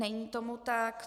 Není tomu tak.